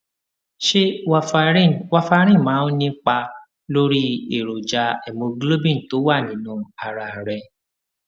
ṣé warfarin warfarin máa ń nípa lórí èròjà hémoglobin tó wà nínú ara rẹ